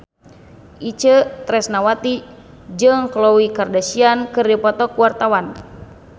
Itje Tresnawati jeung Khloe Kardashian keur dipoto ku wartawan